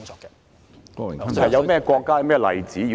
有甚麼國家和例子？